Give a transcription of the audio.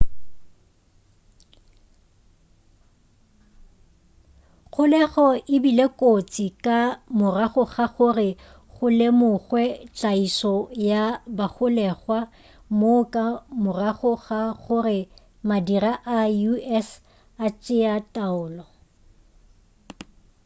kgolego e bile kotsi ka morago ga gore go lemogwe tlaišo ya bagolegwa moo ka morago ga gore madira a us a tšea taolo